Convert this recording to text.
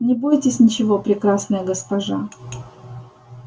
не бойтесь ничего прекрасная госпожа